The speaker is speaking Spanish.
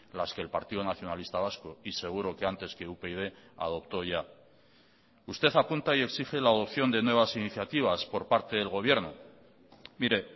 las que el partido nacionalista vasco y seguro que antes que upyd adoptó ya usted apunta y exige la adopción de nuevas iniciativas por parte del gobierno mire